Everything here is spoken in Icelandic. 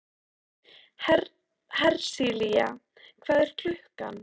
Hersilía, hvað er klukkan?